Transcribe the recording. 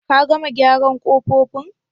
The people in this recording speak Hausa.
Ka gama gyaran kofofin?